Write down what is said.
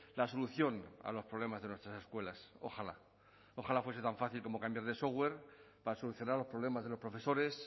la solución a los problemas de nuestras escuelas ojalá ojalá fuese tan fácil como cambiar de software para solucionar los problemas de los profesores